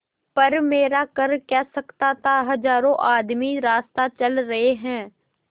पर मेरा कर क्या सकता था हजारों आदमी रास्ता चल रहे हैं